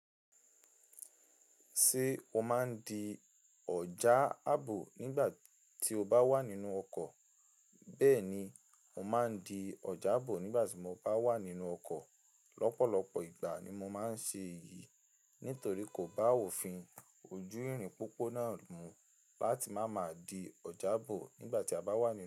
Ṣé o máa ń di ọjà àbò nígbà tí o bá wà nínú ọkọ̀? Bẹ́ẹ̀ni, mo máa ń di ọjà àbò nígbà tí mo bá wà nínú ọkọ̀. Ọ̀pọ̀lọpọ̀ ìgbà ni mo máa ń ṣe èyí nítorí kò bá òfin ojú ìrìn pópó náà mú láti máa ma di ọjà àbò nígbà tí a bá wà nínú ọkọ̀